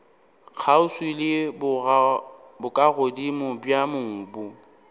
kgauswi le bokagodimo bja mobu